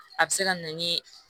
A bɛ se ka na ni